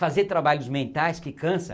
Fazer trabalhos mentais que cansa.